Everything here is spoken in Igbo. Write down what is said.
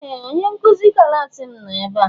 Ee! Onye nkụzi klaasị m nọ ebe a.